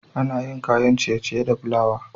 Ana yin kayan ciye-ciye da plawa